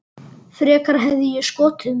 Frekar hefði ég skotið mig.